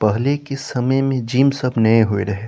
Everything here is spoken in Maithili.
पहले के समय में जिम सब नाय होय रहे।